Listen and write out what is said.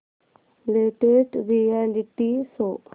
latest reality show